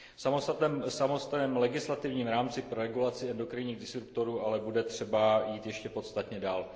V samotném legislativním rámci pro regulaci endokrinních disruptorů ale bude třeba jít ještě podstatně dál.